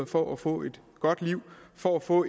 for at få et godt liv for at få